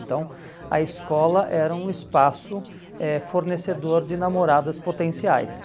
Então a escola era um espaço eh fornecedor de namoradas potenciais.